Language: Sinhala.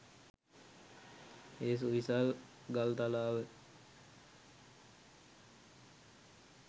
ඒ සුවිසල් ගල්තලාව